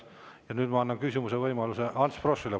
Ja nüüd ma annan küsimise võimaluse Ants Froschile.